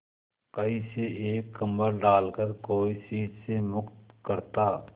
कहीं से एक कंबल डालकर कोई शीत से मुक्त करता